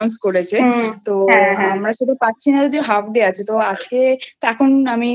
একটা ছুটি Announce করেছে আমরা ছুটি পাচ্ছি না যদিও halfday আছে তো আজকে .....